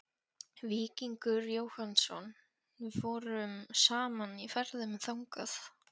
Víkingur Jóhannsson vorum saman í ferðum þangað.